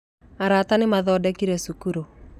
Arata nĩ mathondekire cukuru